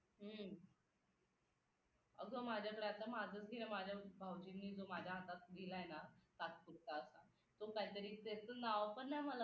हम्म अगं माझ्या तर आता माझंच घे माझ्या भाऊजींनी जो हातात दिलाय ना तात्पुरता आता तो काहीतरी त्याचं नाव पण नाही